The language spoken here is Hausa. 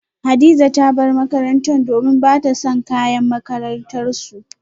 Hadiza ta bar makarantarta domin bata son kayan makarantarsu